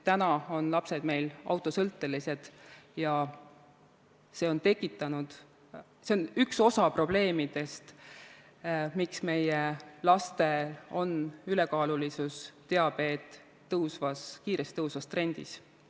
Täna on lapsed meil autosõltelised ja see on üks osa probleemidest, miks meie lapsed on ülekaalulised ja miks diabeet on kiiresti tõusvas trendis.